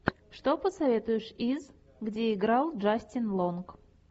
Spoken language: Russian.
что посоветуешь из где играл джастин лонг